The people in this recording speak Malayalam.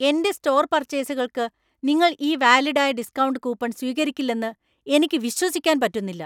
എന്‍റെ സ്റ്റോർ പർച്ചേസുകൾക്കു നിങ്ങൾ ഈ വാലിഡ് ആയ ഡിസ്‌കൗണ്ട് കൂപ്പൺ സ്വീകരിക്കില്ലെന്ന് എനിക്ക് വിശ്വസിക്കാൻ പറ്റുന്നില്ല.